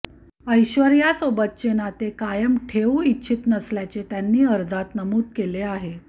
ऐश्वर्यासोबतचे नाते कायम ठेवू इच्छित नसल्याचे त्यांनी अर्जात नमूद केले आहे